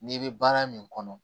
N'i bɛ baara min kɔnɔ